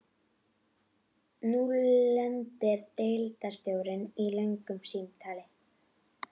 Nú lendir deildarstjóri í löngu símtali.